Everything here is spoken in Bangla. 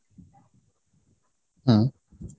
হম